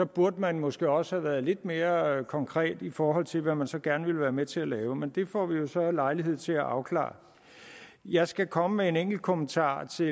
burde man måske også have været lidt mere konkret i forhold til hvad man så gerne ville være med til at lave men det får vi jo så lejlighed til at få afklaret jeg skal komme med en enkelt kommentar til